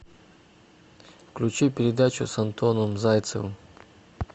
включи передачу с антоном зайцевым